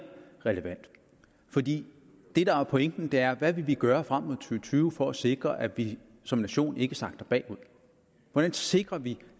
relevant fordi det der er pointen er hvad vi vil gøre frem mod to tusind og tyve for at sikre at vi som nation ikke sakker bagud hvordan sikrer vi